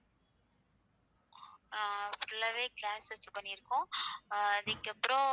அதுக்கப்புறம்.